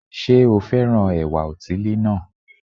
Sé o fẹ́ràn ẹ̀wà òtílí náà